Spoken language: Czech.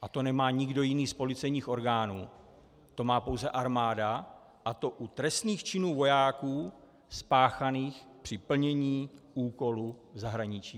A to nemá nikdo jiný z policejních orgánů, to má pouze armáda, a to u trestných činů vojáků spáchaných při plnění úkolu v zahraničí.